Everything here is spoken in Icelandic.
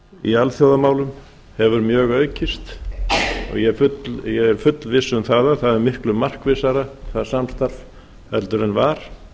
í alþjóðamálum hefur mjög aukist og ég er fullviss um að það samstarf er miklu markvissara en var